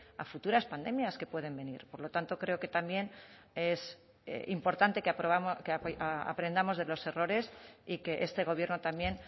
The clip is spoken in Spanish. a futuras pandemias que pueden venir por lo tanto creo que también es importante que aprendamos de los errores y que este gobierno también